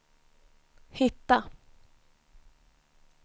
hitta